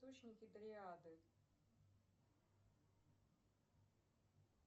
источники дриады